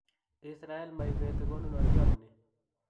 Israel maibeti konunotiot ni"